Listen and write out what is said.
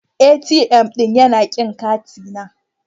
ATM ɗin yana kin katina.